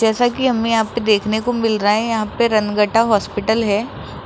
जैसा कि हमें आपको देखने को मिल रहा है यहां पे रंगत्ता हॉस्पिटल है